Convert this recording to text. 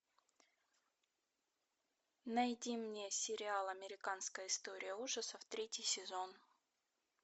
найди мне сериал американская история ужасов третий сезон